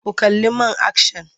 Ku kalli man akshan!